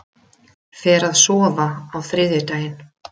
Fer að sofa á þriðjudaginn